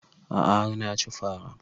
A'a har na ci fara